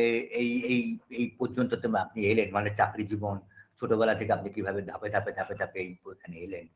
এ এ এই এই পর্যন্ত তো আপনি এলেন মানে চাকরি জীবন ছোটবেলা থেকে আপনি কিভাবে ধাপে ধাপে ধাপে ধাপে এই প এখানে এলেন